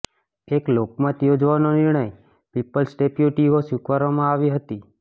એક લોકમત યોજવાનો નિર્ણય પીપલ્સ ડેપ્યુટીઓ સ્વીકારવામાં આવી હતી